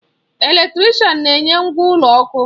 Eletrịsịtị na-enye ngwa ụlọ ọkụ.